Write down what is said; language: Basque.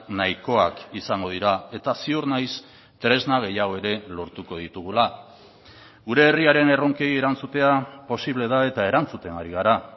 nahikoak izango dira eta ziur naiz tresna gehiago ere lortuko ditugula gure herriaren erronkei erantzutea posible da eta erantzuten ari gara